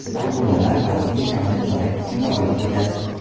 Akulalar baliqning kamida chorak qismini olib ketadi.